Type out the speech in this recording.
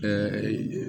Ɛɛ